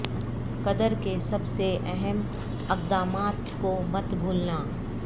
قدر کے سب سے اہم اقدامات کو مت بھولنا